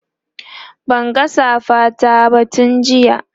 Banga safa ta ba tun jiya